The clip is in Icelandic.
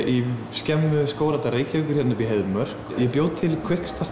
skemmu Skógræktar Reykjavíkur hérna uppi í Heiðmörk ég bjó til